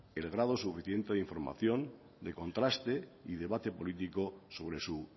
el grado suficiente de información de contraste y debate político sobre su